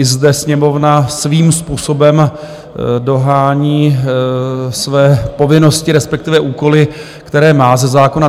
I zde Sněmovna svým způsobem dohání své povinnosti, respektive úkoly, které má ze zákona.